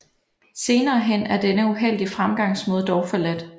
Senere hen er denne uheldige fremgangsmaade dog forladt